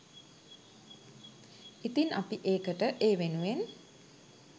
ඉතින් අපි ඒකට ඒ වෙනුවෙන්